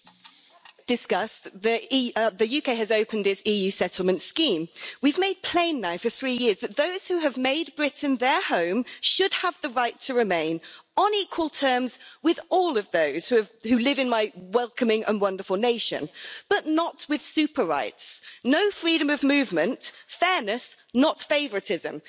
Mr President, the UK has opened its EU settlement scheme. We've made plain now for three years that those who have made Britain their home should have the right to remain on equal terms with all of those who live in my welcoming and wonderful nation, but not with super rights no freedom of movement, fairness not favouritism.